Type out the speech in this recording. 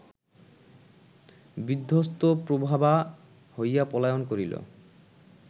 বিধ্বস্তপ্রভাবা হইয়া পলায়ন করিল